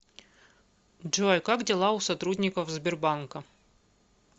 джой как дела у сотрудников сбербанка